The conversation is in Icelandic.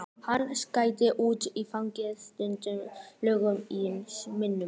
Hann gekk út og fann hvernig tennurnar glömruðu í munninum.